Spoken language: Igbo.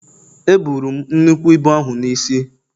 Eburu m nnukwu ibu ahụ n’isi